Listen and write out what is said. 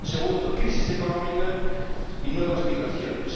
Segundo crisis económica y nuevas migraciones.